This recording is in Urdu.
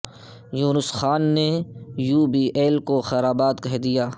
یونس خان نے یو بی ایل کو خیر باد کہہ دیا